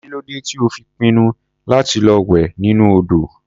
Kí ló dé tí ó fi pinnu láti lọ wẹ̀ nínú odò?